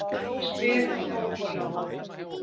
spyr hún óþolinmóð.